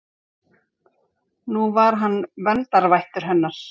Nú var hann verndarvættur hennar.